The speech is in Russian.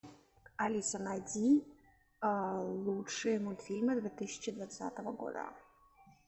алиса найди лучшие мультфильмы две тысячи двадцатого года